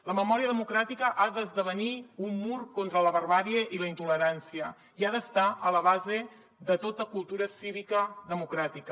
la memòria democràtica ha d’esdevenir un mur contra la barbàrie i la intolerància i ha d’estar a la base de tota cultura cívica democràtica